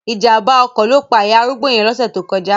Ìjàmbá ọkọ̀ ló pa ìyá arúgbó yẹn lóṣẹ̀ tó kọjá.